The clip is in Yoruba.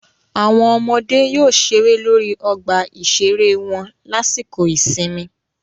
Àwọn ọmọdé yóò ṣeré lórí ọgbà ìṣeré wọn lásìkò ìsinmi